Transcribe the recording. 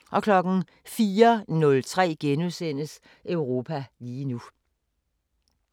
04:03: Europa lige nu *